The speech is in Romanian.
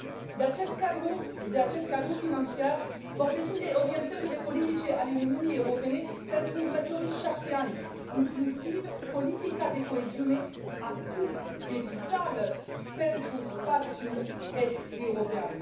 De acest cadru financiar vor depinde orientările politice ale Uniunii Europene pentru următorii șapte ani, inclusiv politica de coeziune atât de vitală pentru spațiul est european.